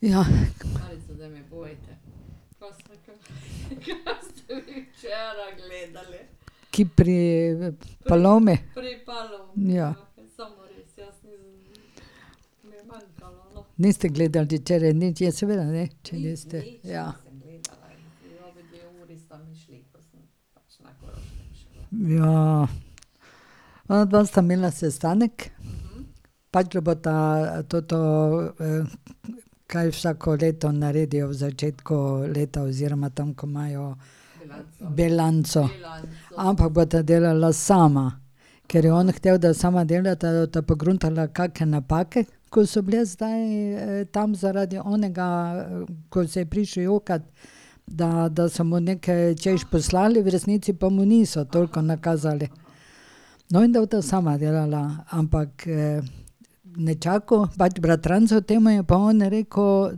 Ja. Kje? Pri Palomi? Ja. Niste gledal di včeraj nič? Ja, seveda, ne, če niste ... Ja. Ja. Onadva sta imela sestanek. Pa od Ljubota toto, kaj vsako leto naredijo v začetku leta oziroma tam, ko imajo ... Bilanco. Ampak bosta delala sama, ker je on hotel, da sama delata, da bosta pogruntala kake napake, ko so bile zdaj tam zaradi onega, ko se je prišel jokat, da da so mu neke čez poslali, v resnici pa mu niso toliko nakazali. No, in da bosta sama delala, ampak nečaku pač bratrancu temu je pa on rekel,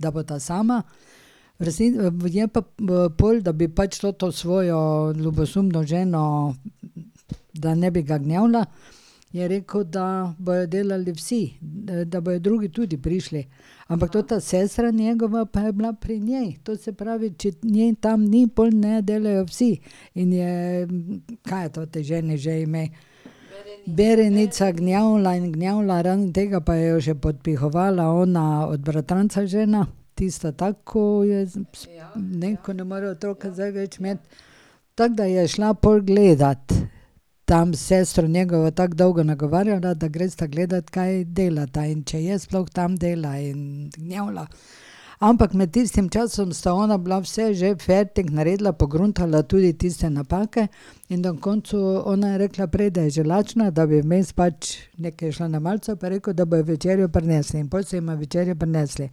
da bosta sama, v je pa pol, da bi pač to svojo ljubosumno ženo, da ne bi ga gnjavila, je rekel, da bojo delali vsi, da bojo drugi tudi prišli. Ampak tota sestra njegova pa je bila pri njej, to se pravi, če ne tam ni, pol ne delajo vsi. In je, kaj je toti ženi že ime? Berenica gnjavila in gnjavila, raven tega pa jo je še podpihovala ona od bratranca žena, tista tako, ko jo je ne, ko ne more otrok zdaj več imeti. Tako da je šla pol gledat, tam sestro njegovo tako dolgo nagovarjala, da gresta gledat, kaj delata, in če je sploh tam, dela, in gnjavila, ampak med tistim časom sta ona bila vse že fertik, naredila, pogruntala tudi tiste napake, in na koncu ona je rekla prej, da je že lačna, da bi vmes pač nekaj šla na malico, pa je rekel, da bojo večerjo prinesli in pol so jima večerjo prinesli.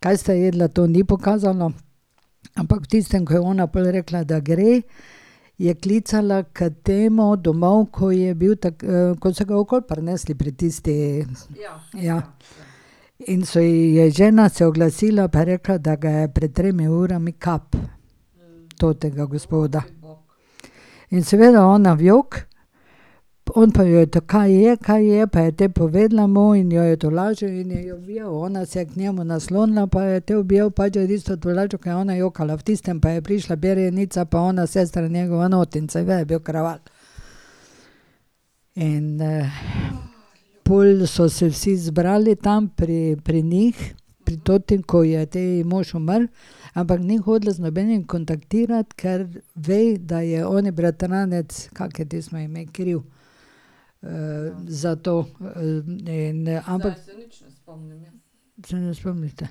Kaj sta jedla, to ni pokazala, ampak v tistem, ko je ona pol rekla, da gre, je klicala k temu domov, ko je bil ko so ga okoli prinesli pri tisti ... Ja. In so ji, je žena se oglasila pa rekla, da ga je pred tremi urami kap. Tega gospoda. In seveda, ona v jok, on pa jo je tako, kaj ji je, kaj je, pa je te povedala mu in jo je tolažil in jo je objel, ona se je k njemu naslonila, pa jo je te objel, pač jo je tisto tolažil, ko je ona jokala. V tistem pa je prišla Berenica pa ona sestra njegova, je bil kraval. In pol so se vsi zbrali tam pri pri njih, pri toti, ko ji je te mož umrl, ampak ni hotela z nobenim kontaktirati, kar ve, da je oni bratranec, kako je tistemu ime, kriv za to. In ampak ... Se ne spomnite?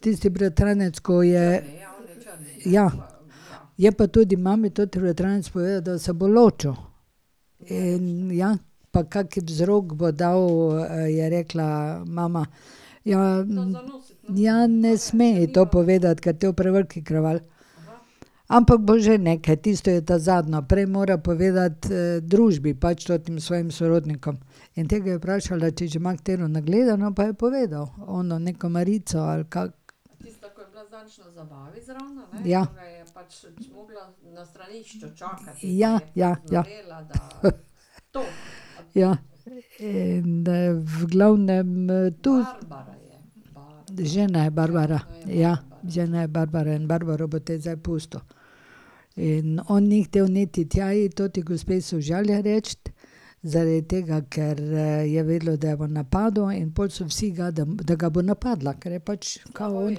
Tisti bratranec, ko je ... Ja. Je pa tudi mami tudi bratranec povedal, da se bo ločil. In ja. Pa kak vzrok bo dal je rekla mama. Ja ... Ja, ne sme je to povedati, ker te bo prevelik kraval. Ampak bo že nekaj, tisto je ta zadnje, prej mora povedati družbi pač tem svojim sorodnikom. In te ga je vprašala, če že ima katero nagledano, pa je povedal, ono neko Marico, ali kako. Ja. Ja, ja, ja. Ja. In v glavnem tu ... Žena je Barbara, ja. Žena je Barbara in Barbaro bo te zdaj pustil. In on ni hotel niti tja iti, toti gospe sožalje reči, zaradi tega, ker je vedela, da jo bo napadel in pol so vsi ga, da ga bo napadla, ker je pač kao on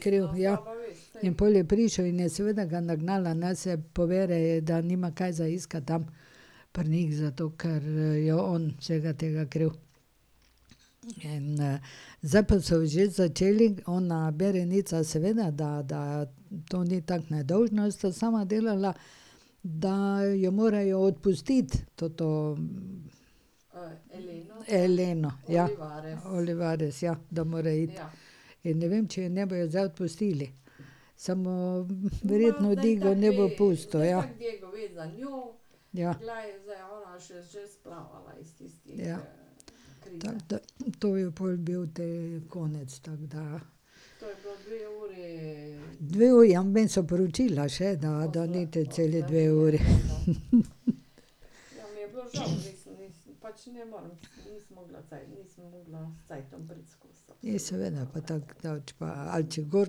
kriv. Ja. In pol je prišel in je seveda ga nagnala, naj se pobere, da nima kaj za iskati tam pri njih, zato ker je on vsega tega kriv. In zdaj pa so že začeli, ona Berenica seveda, da, da to ni tako nedolžno, da sta sama delala, da jo morajo odpustiti, toto ... Eleno, ja. Olivares, ja, da mora iti. In ne vem, če je ne bojo zdaj odpustili. Samo, verjetno Diego ne bo pustil, ja. Ja. Tako da to je pol bil te konec, tako da. Dve uri, vmes so poročila še, da, da ni te celi dve uri. Ja, seveda pa tako daleč pa, ali če gor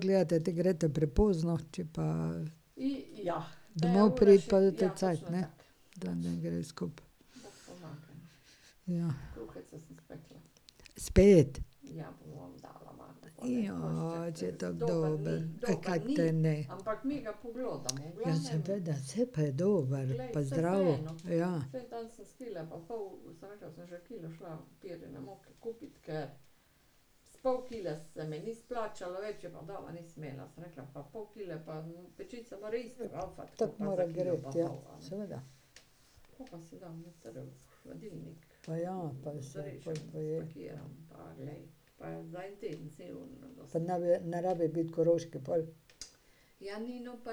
gledate, te greste prepozno, če pa ... Domov priti pa cajt, ne. Da ne gre skupaj. Ja. Spet? če je tako dobro, ka te naj. Ja, seveda, saj pa je dober pa zdrav, ja. Tako mora greti, ja, seveda. Pa ja, pa saj, pol poje. Pa ne bi, ne rabi biti koroški pol? Ja, ja. Pa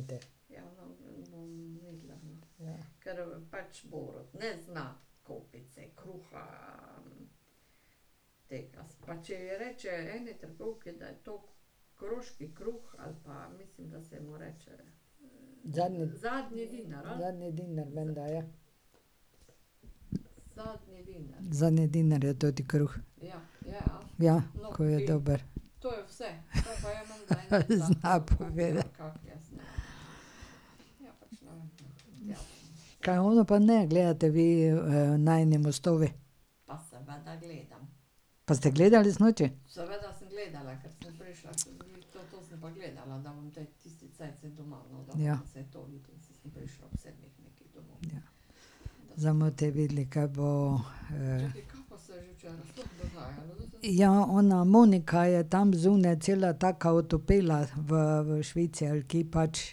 mlečniku peljati, ja, ka pa te. Zadnji ... Zadnji denar menda, ja. Zadnji denar je toti kruh. Ja, ko je dober. zna povedati. Kaj ono pa ne gledate vi, Najini mostovi? Pa ste gledali sinoči? Ja. Zdaj bomo te videli, kaj bo ... Ja, ona Monika je tam zunaj cela taka otopela, v v Švici ali kje pač,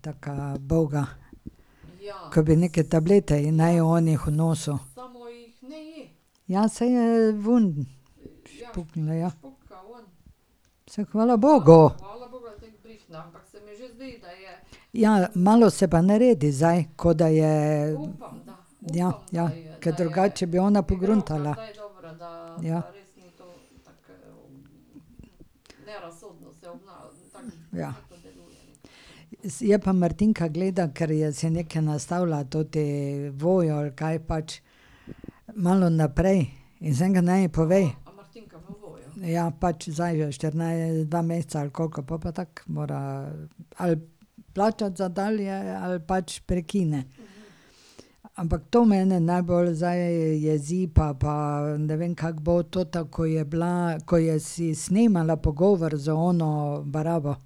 taka uboga. Ke bi neke tablete ji naj oni nosil. Ja, saj ven špuknila, ja. Saj hvala bogu. Ja, malo se pa naredi zdaj, ko da je ... Ja, ja. Ker drugače bi ona pogruntala. Ja. Ja. je pa Martinka gleda, ker je si nekaj nastavila toti Voyo ali kaj pač malo naprej in sem rekla, naj mi pove. Ja, pač zdaj dva meseca ali koliko, pol pa tako mora ali plačati za dalje ali pač prekine. Ampak to mene najbolj zdaj jezi, pa, pa ne vem, kako bo, tota, ko je bila, ko je si snemala pogovor z ono barabo.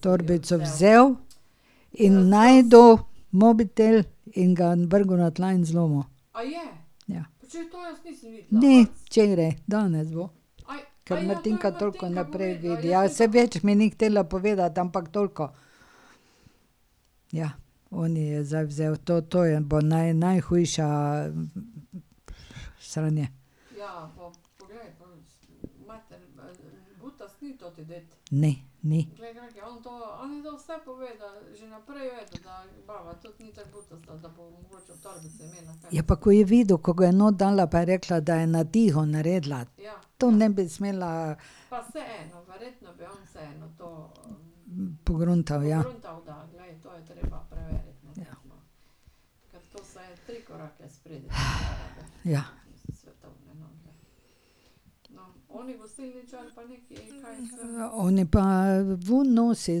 Torbico vzel in našel mobitel in ga vrgel na tla in zlomil. Ja. Ni, včeraj, danes bo. Ka Martinka toliko naprej vidi, ja saj več mi ni hotela povedati, ampak toliko. Ja. On ji je zdaj vzel to, to je, bo najhujša sranje. Ne, ni. Ja, pa ko je videl, ko ga je not dala pa je rekla, da je na tiho naredila. To ne bi smela ... Pogruntal, ja. ja. Oni pa ven nosi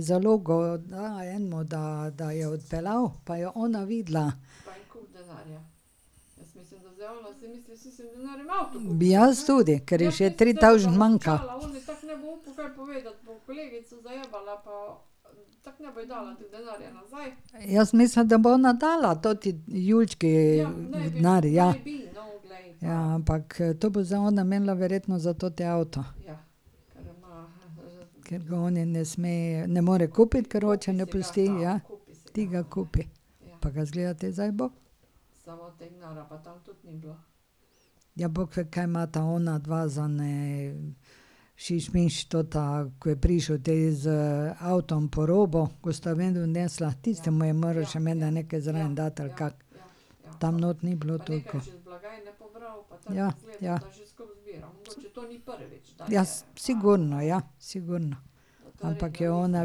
zalogo enemu, da, da je odpeljal, pa je ona videla. Jaz tudi, ker je še tri tavžent manjka. Jaz mislim, da bo ona dala toti Julčki denar, ja. Ja, ampak to bo zdaj ona imela verjetno za toti avto. Ker ga oni ne sme, ne more kupiti, ker oče ne pusti, ja. Ti ga kupi, pa ga, izgleda, te zdaj bo. Ja, bog ve kaj imata onadva za ene šiš misliš, tota, ko je prišel te z avtom po robo, ko sta ven nesla, tistemu je moral še menda nekaj zraven dati, ali kako. Tam not ni bilo toliko. Ja, ja. Ja, sigurno, ja. Sigurno. Ampak je ona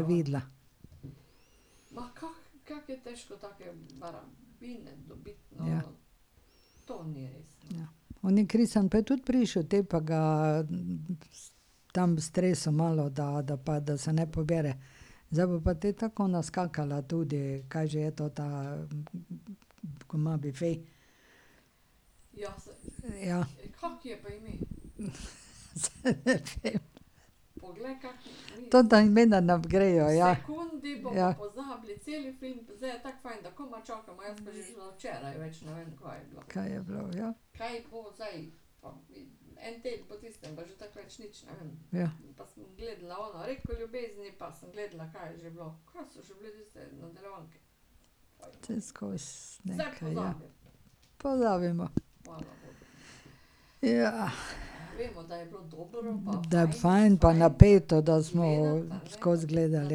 videla. Ja. Oni Kristjan pa je tudi prišel, te pa ga tam stresel malo, da, da, pa da se ne pobere. Zdaj bo pa te tako ona skakala tudi, kaj že je tota, ko ima bife? Ja. Ne vem. Tota imena nam grejo, ja. Ja. Kaj je bilo, ja. Ja. Saj skozi nekaj, ja. Pozabimo. Da je fajn pa napeto, da smo skozi gledali,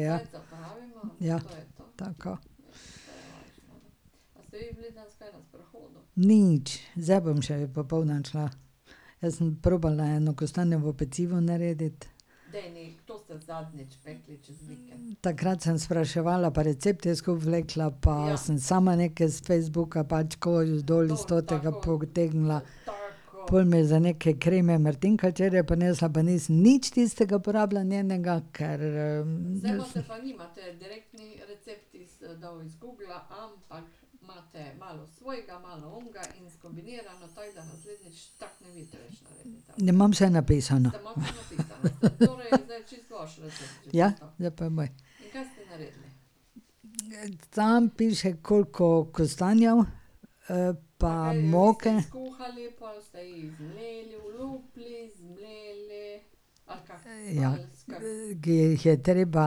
ja. Ja. Tako. Nič, zdaj bom še popoldan šla. Zdaj sem probala eno kostanjevo pecivo narediti. Takrat sem spraševala pa recepte skupaj vlekla pa sem sama nekaj s Facebooka pač ko dol s totega potegnila. Pol me je za neke kreme Martinka včeraj prinesla, pa nisem nič tistega porabila njenega, kar ... Ne, imam vse napisano. Ja, zdaj pa je moj. Tam piše, koliko kostanjev pa moke. Ja. ke jih je treba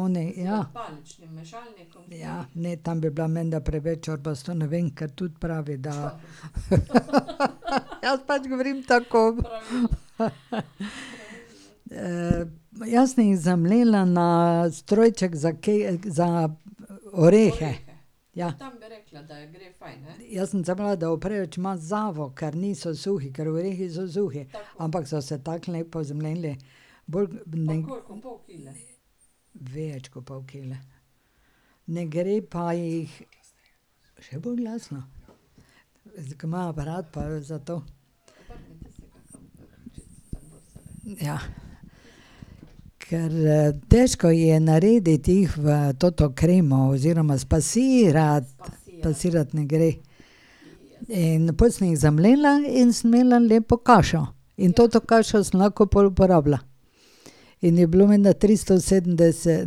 oni, ja. Ja, ne, tam bi bila menda preveč čorbasto, ne vem, ker tudi pravi, da ... jaz pač govorim tako, ko ... jaz sem jih zamlela na strojček za kaj, za orehe. Ja. Jaz sem se bala, da bo preveč mazavo, ker niso suhi, ker orehi so suhi, ampak so se tako lepo zmleli. Bolj ... Več kot pol kile. Ne gre pa jih ... Še bolj glasno? Zdaj ko imam aparat pa zato ... Ja. Ker težko je narediti, jih v toto kremo oziroma spasirati. Spasirati ne gre. In pol sem jih zamlela in sem imela lepo kašo. In to kašo sem lahko pol uporabila. In je bilo menda tristo sedemdeset,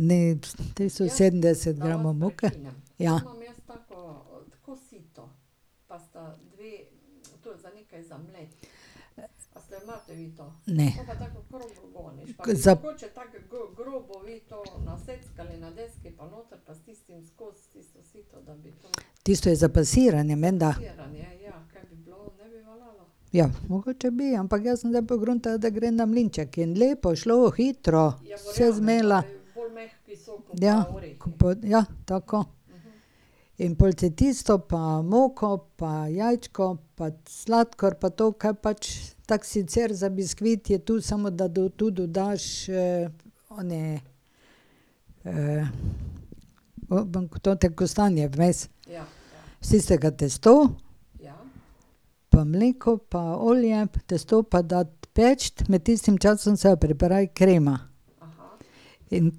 ne, tristo sedemdeset gramov moke. Ja. Ne. Za ... Tisto je za pasiranje menda. Ja, mogoče bi, ampak jaz sem zdaj pogruntala, da gre na mlinček in lepo je šlo, hitro, vse zmlela. Ja, ko pa, ja, tako. In pol te tisto pa moko pa jajčko pa sladkor pa to, ka pač tako, sicer za biskvit je to, samo da tu dodaš oni tote kostanje vmes. Iz tistega testo, pa mleko pa olje, testo pa dati peči, med tistim časom se pa pripravi krema. In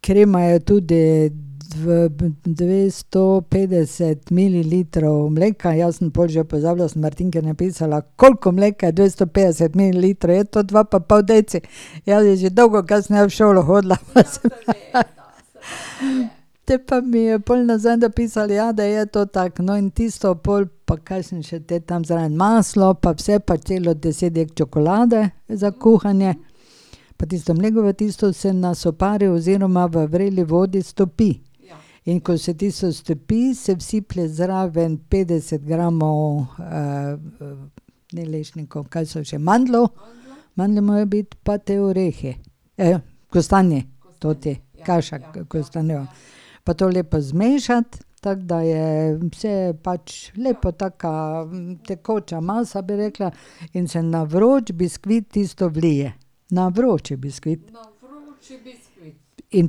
krema je tudi v dvesto petdeset mililitrov mleka, jaz sem pol že pozabila, sem Martinki napisala, koliko mleka je dvesto petdeset mililitrov, je tu dva pa pol deci, je že dolgo, ka sem jaz v šolo hodila, pa sem, ... te pa mi je pol nazaj napisala, ja, da je to tako. No, in tisto pol, pa kaj sem še tam zraven, maslo pa vse pa celo deset dek čokolade za kuhanje pa tisto mleko pa tisto se na sopari oziroma v vreli vodi stopi. In ko se tisto stopi, se vsiplje zraven petdeset gramov ni lešnikov, kaj so že, mandljev, mandlji morajo biti pa te orehe. kostanje, toti, kaša kostanjeva. Pa to lepo zmešati, tako da je se pač lepa taka tekoča masa, bi rekla, in se na vroč biskvit tisto vlije. Na vroči biskvit. In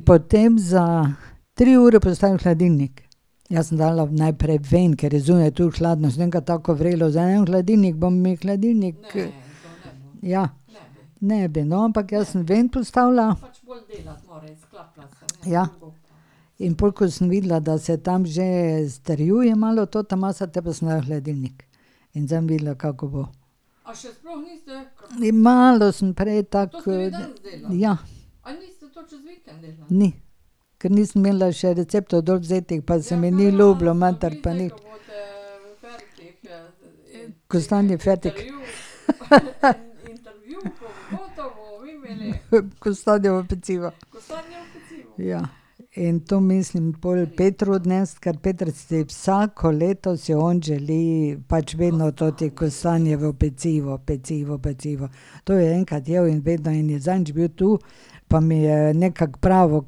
potem za tri ure postaviti v hladilnik. Jaz sem dala najprej ven, ker je zunaj toliko hladno, sem rekla, tako vrelo zdaj ne bom v hladilnik, bo mi hladilnik ... Ja. Ne bi, no, ampak jaz sem ven postavila. Ja. In pol, ko sem videla, da se tam že strjuje malo tota masa, potem pa sem jo dala v hladilnik. In zdaj bom videla, kako bo. Malo sem prej tako ... Ja. Ne. Ker nisem imela še receptov dol vzetih, pa se mi ni ljubilo matrati pa nič. Kostanjev fertik. Kostanjevo pecivo. Ja. In to mislim pol Petru odnesti, ker Peter si vsako leto si on želi pač vedno toti kostanjevo pecivo, pecivo, pecivo. To je enkrat jedel in vedno in je zadnjič bil tu, pa mi je nekako pravil,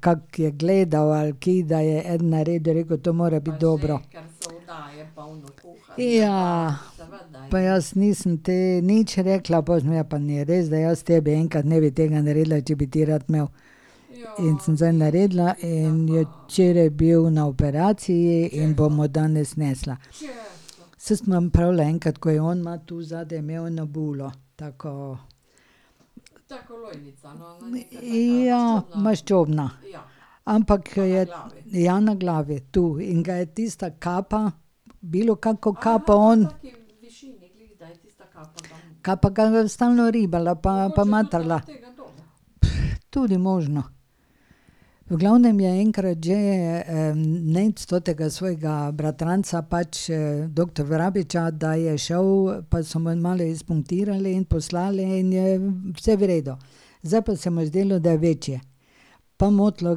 kako je gledal, ali kaj, da je eden naredil, je rekel: "To mora biti dobro." Ja. Pa jaz nisem te nič rekla, pol sem pa ja, pa ne, veš, da jaz tebi enkrat ne bi tega naredila, če bi ti rad imel. In sem zdaj naredila in je včeraj bil na operaciji in bom mu danes nesla. Saj sem vam pravila enkrat, ko je on ima, tu zadaj je imel eno bulo, tako ... Ja, maščobna. Ampak je ... Ja, na glavi tu. In ga je tista kapa, bilokako kapo on ... Kapa ga stalno ribala pa pa matrala. tudi možno. V glavnem je enkrat že Nejc totega svojega bratranca pač doktor Vrabiča, da je šel, pa so mu en malo spunktirali in poslali in je vse v redu. Zdaj pa se mu je zdelo, da je večje. Pa motilo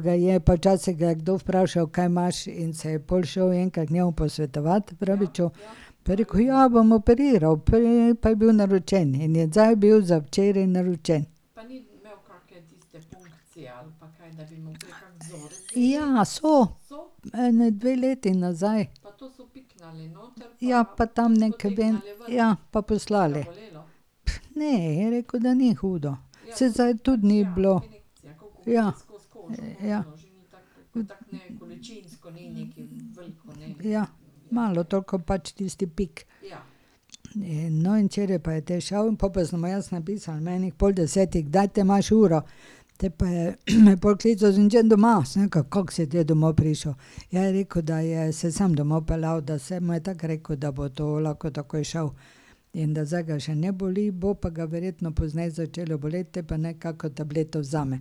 ga je, pa včasih ga je kdo vprašal: "Kaj imaš?" In se je pol še enkrat k njemu posvetovati, Vrabiču. Pa je rekel: "Ja, bom operiral." pa je bil naročen in je zdaj bil včeraj naročen. Ja, so. Ene dve leti nazaj. Ja, pa tam neke ... ja pa, poslali. Ne, je rekel, da ni hudo. Saj zdaj tudi ni bilo. Ja. Ja. Ja, malo toliko pač tisti pik. No, in včeraj pa je te šel, pol pa sem mu jaz napisala ob ene pol desetih, kdaj te imaš uro. Potem pa je me pol klical: "Sem že doma." Sem rekla: "Kako si te domov prišel?" Ja, je rekel, da je se samo domov peljal, da se mu je tako rekel, da bo to lahko takoj šel in da zdaj ga še ne boli, bo pa ga verjetno pozneje začelo boleti, te pa naj kako tableto vzame.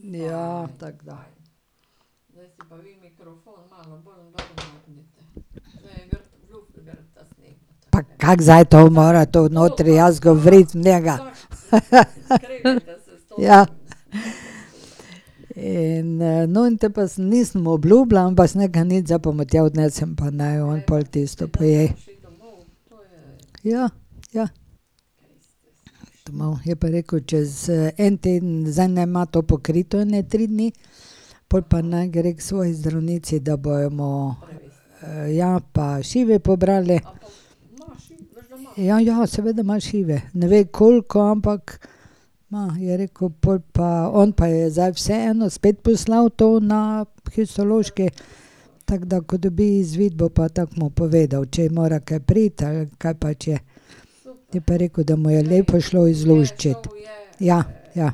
Ja, tako da. Pa kako zdaj to mora tu notri, jaz govoriti v njega. Ja. In no, te pa se nisem mu obljubila pa sem rekla: "Nič, zdaj pa mu tam odnesem pa naj on pol tisto poje." Ja, ja. Domov, je pa rekel, čez en teden, zdaj naj ima to pokrito ene tri dni, pol pa naj gre k svoji zdravnici, da bomo ... ja, pa šive pobrali. Ja, ja, seveda ima šive. Ne ve, koliko, ampak ima. Je rekel pol pa, on pa je zdaj vseeno spet poslal to na histološki, tako da ko dobi izvid, bo pa tako mu povedal, če mora kaj priti, ali kaj pač je. Je pa rekel, da mu je lepo šlo izluščiti. Ja, ja.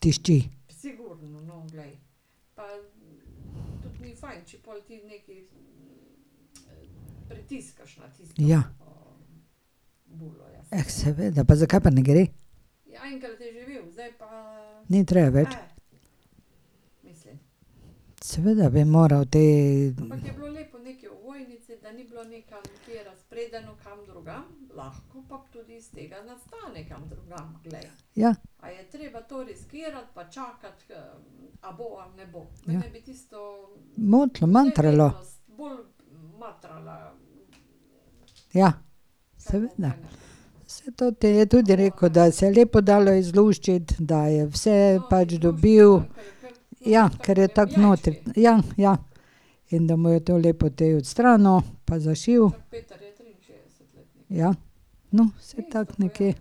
Tišči. Ja. seveda pa zakaj pa ne gre? Ni treba več? Seveda bi moral te ... Ja. Ja. Motilo, matralo. Ja. Seveda. Saj toti je tudi rekel, da se je lepo dalo izluščiti, da je vse pač dobil. Ja, ker je toliko notri, ja, ja. In da mu je to lepo te odstranil pa zašil. Ja. No, saj, tako nekje.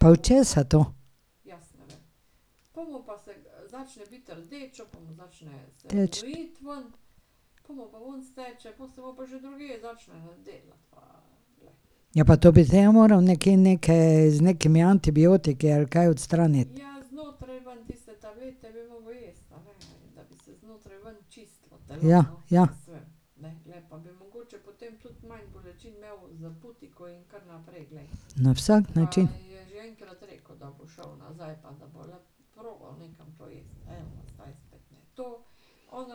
Pa od česa to? Teči. Ja, pa to bi te ja moral nekaj, neke, z nekimi antibiotiki ali kaj odstraniti. Ja, ja. Na vsak način. Mu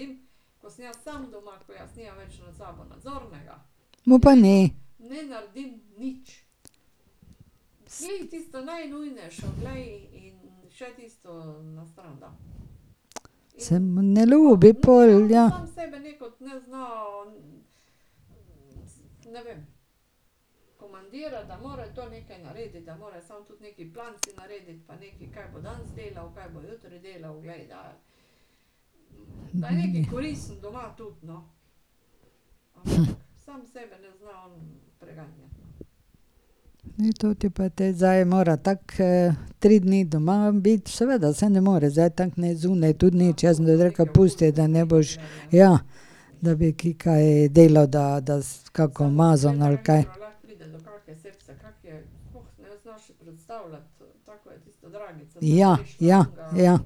pa ne. Se mu ne ljubi pol, ja. Toti pa te zdaj mora tako tri dni doma biti, seveda, saj ne more zdaj tako ne zunaj, tudi ni, včeraj sem rekla: "Pusti, da ne boš ..." Ja, da bi ki kaj delal, da da kako mazon, ali kaj. Ja, ja, ja.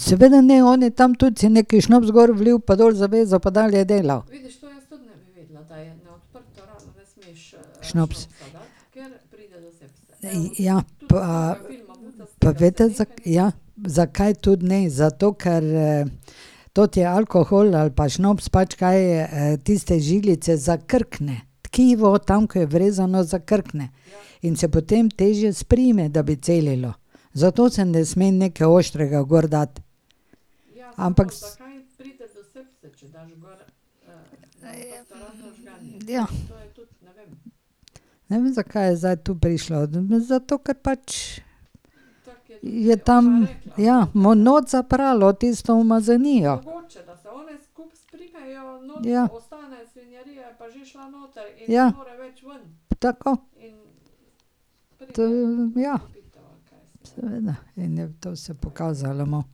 Seveda ne, on je tam tudi si nekaj šnopec gor ulil pa dol zavezal pa dalje delal. Šnops. Ja pa ... Pa veste, ... Ja. Zakaj tudi ne, zato ker toti alkohol ali pa šnops, pač kaj, tiste žilice zakrkne. Tkivo, tam keo je vrezano, zakrkne. In se potem težje sprime, da bi celilo. Zato se ne sme nekaj ostrega gor dati. Ampak ... Ja. Ne vem, zakaj je zdaj to prišlo. Zato, ker pač je tam, ja, not zapralo tisto umazanijo. Ja. Ja. Tako. To, ja. Seveda in je to se pokazalo malo.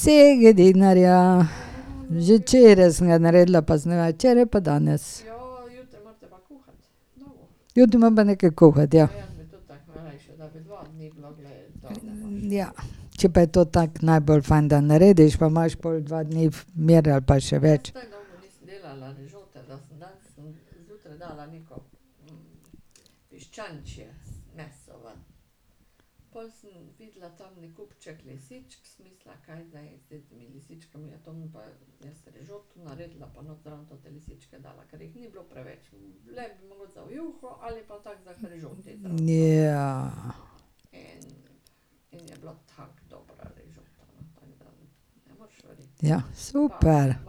Segedinarja. Že včeraj sem ga naredila, pa sem ga imela včeraj pa danes. Jutri moram pa nekaj kuhati, ja. Ja, če je pa to tako najbolj fajn, da narediš, pa imaš pol dva dni mir ali pa še več. Ja. Ja, super. Na ...